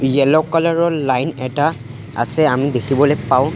Yellow colour ৰ line এটা আছে আমি দেখিবলৈ পাওঁ।